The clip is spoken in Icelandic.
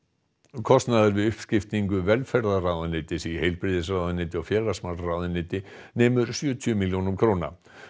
kostnaður við uppskiptingu velferðarráðuneytis í heilbrigðisráðuneyti og félagsmálaráðuneyti nemur sjötíu milljónum króna